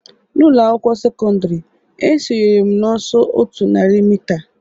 N'ụlọ akwụkwọ sekọndrị, esonyere m n'ọsọ otu narị mita